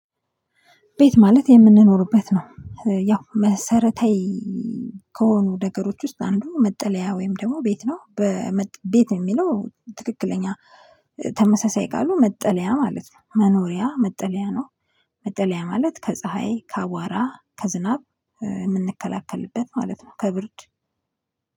ቤት ማለት የምንኖርበት ነው ያው መሰረታዊ ከሆኑ ነገሮች ውስጥ አንዱ መጠለያ ወይም ደግሞ ቤት ነው። ቤት የሚለው ትክክለኛ ተመሳሳይ ቃሉ መጠለያ ማለት ነው መኖሪያ መጠለያ ነው። መጠለያ ማለት ከፀሀይ ከአቧራ ከዝናብ የምንከላከልበት ማለት ነው ከብርድ